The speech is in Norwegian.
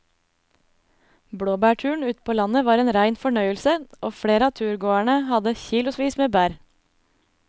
Blåbærturen ute på landet var en rein fornøyelse og flere av turgåerene hadde kilosvis med bær.